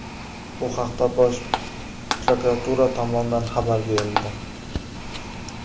Bu haqda Bosh prokuratura tomonidan xabar berildi .